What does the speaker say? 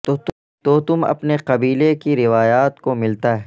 تو تم اپنے قبیلے کی روایات کو ملتا ہے